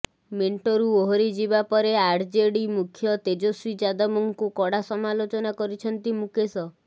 ମେଣ୍ଟରୁ ଓହିରିଯିବା ପରେ ଆର୍ଜେଡି ମୁଖ୍ୟ ତେଜସ୍ୱୀ ଯାଦବଙ୍କୁ କଡ଼ା ସମାଲୋଚନା କରିଛନ୍ତି ମୁକେଶ